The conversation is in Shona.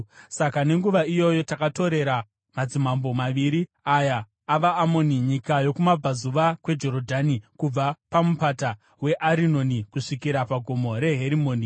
Saka nenguva iyoyo takatorera madzimambo maviri aya avaAmoni nyika yokumabvazuva kweJorodhani, kubva paMupata weArinoni kusvikira kuGomo reHerimoni.